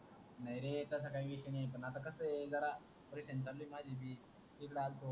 नाही रे तसा काही विषय नाही आता कस ये जरा patient चालू ये माझे भी